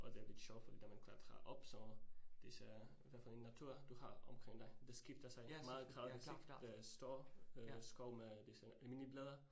Og det er lidt sjovt fordi da man klatrer op så disse hvad for en natur du har omkring dig, det skifter så meget gradvist ik, stor øh skov med disse almindelige blade